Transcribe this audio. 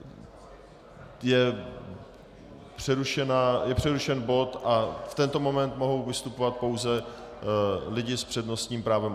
Je přerušen bod a v tento moment mohou vystupovat pouze lidé s přednostním právem.